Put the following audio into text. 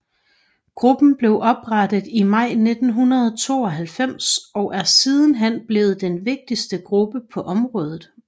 Gruppen blev oprettet i maj 1992 og er sidenhen blevet den vigtigste gruppe på området